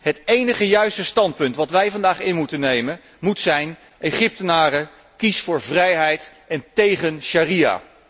Het enige juiste standpunt dat wij vandaag in moeten nemen, moet zijn Egyptenaren, kies voor vrijheid en tegen sharia